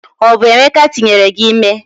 o bu emeka tinyere gi ime?